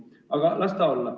Aga las ta olla.